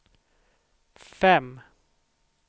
fem